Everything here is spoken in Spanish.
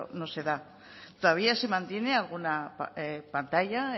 no se da todavía se mantiene alguna pantalla